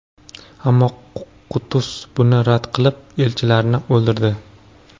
Ammo Qutuz buni rad qilib, elchilarni o‘ldirdi.